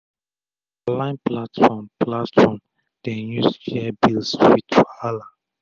na online platform platform dem use share bills with wahala